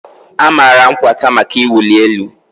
a maara Nkwata maka ịwụ elu.